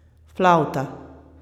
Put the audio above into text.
Flavta.